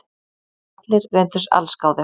Allir reyndust allsgáðir